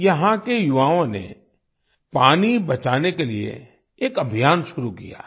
यहाँ के युवाओं ने पानी बचाने के लिए एक अभियान शुरु किया है